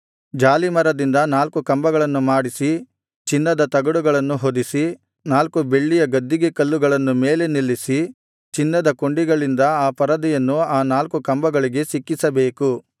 ಜಾಲೀಮರದಿಂದ ನಾಲ್ಕು ಕಂಬಗಳನ್ನು ಮಾಡಿಸಿ ಚಿನ್ನದ ತಗಡುಗಳನ್ನು ಹೊದಿಸಿ ನಾಲ್ಕು ಬೆಳ್ಳಿಯ ಗದ್ದಿಗೆ ಕಲ್ಲುಗಳನ್ನು ಮೇಲೆ ನಿಲ್ಲಿಸಿ ಚಿನ್ನದ ಕೊಂಡಿಗಳಿಂದ ಆ ಪರದೆಯನ್ನು ಆ ನಾಲ್ಕು ಕಂಬಗಳಿಗೆ ಸಿಕ್ಕಿಸಬೇಕು